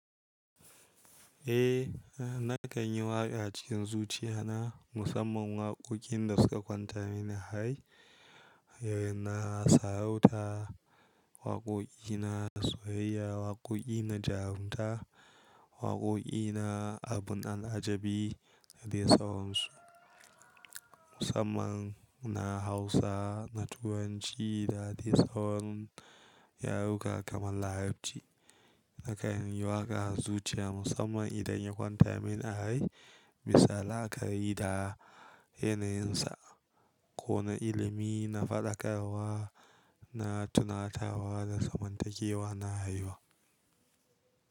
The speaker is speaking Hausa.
Eh, nakan yi waƙa cikin zuciya na musamman waƙoƙin da suka kwanta mini a rai. Irin na sarauta waƙoƙi na soyayya, waƙoƙi na jarunta, waƙoƙi na abun al'ajabi da dai sauransu. Musamman na Hausa na Turanci da dai sauran yaruka kamar Larabci. Nakan yi waƙa a zuciya musamman idan ya kwanta mini a rai. Bisa laa ka ri da yanayinsa, ko na ilimi, na faɗakarwa, na tunatarwa da zamantakewa na haihuwa.